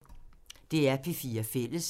DR P4 Fælles